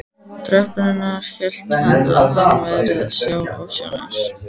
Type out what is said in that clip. tröppurnar hélt hann að hann væri að sjá ofsjónir.